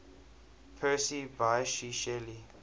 percy bysshe shelley